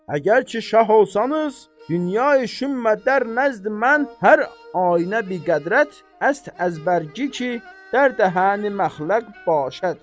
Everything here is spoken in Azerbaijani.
Əgər ki şah olsanız, dünyə şümmə dər nəzd mən hər ainə biqədrət əst əz bərgi ki, dərdə hən məxləq başəd.